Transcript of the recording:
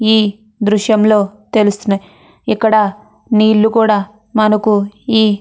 ఈ దృశ్యంలో తెలుస్తున్నాయి ఇక్కడ నీళ్లు కూడా మనకు ఈ --